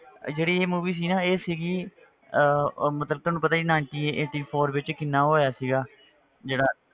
ਜਿਹੜੀ ਇਹ movie ਸੀ ਨਾ ਇਹ ਸੀਗੀ ਅਹ ਅਹ ਮਤਲਬ ਤੁਹਾਨੂੰ ਪਤਾ ninety eighty four ਵਿੱਚ ਕਿੰਨਾ ਹੋਇਆ ਸੀਗਾ ਜਿਹੜਾ